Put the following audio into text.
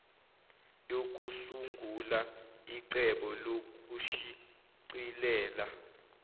yokusungula icebo lokushicilela